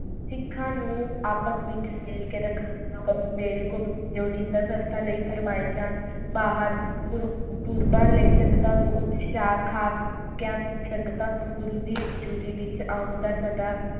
ਸਿੱਖਾਂ ਨੂੰ ਆਪਸ ਵਿਚ ਮਿਲ ਕੇ ਰੱਖਣਾ ਲੋੜੀਂਦਾ ਸਸਤਾ ਲਾਇ ਫਰਮਾਇਸ਼ਾਂ ਭਰ ਗੁਰੂਪੁਰਬਾਂ ਲਈ ਸੰਗਤਾਂ ਨੂੰ ਉਤਸ਼ਾਹ ਖਾਸ ਸੰਗਤਾਂ ਨੂੰ ਗੁਰੂ ਦੀ ਹਜ਼ੂਰੀ ਵਿਚ ਆਉਣ ਦਾ ਸਦਾ